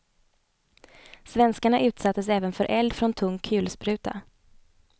Svenskarna utsattes även för eld från tung kulspruta.